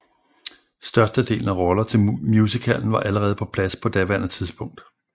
Størstedelen af roller til musicalen var allerede på plads på daværende tidspunkt